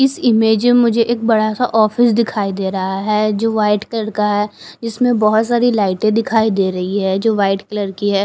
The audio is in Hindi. इस इमेज़ में मुझे एक बड़ा सा ऑफिस दिखाई दे रहा है जो व्हाइट कलर का है जिसमें बहोत सारी लाइटें दिखाई दे रही है जो व्हाइट कलर की है।